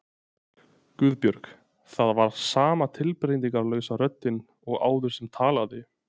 Guðbjörg. það var sama tilbreytingarlausa röddin og áður sem talaði.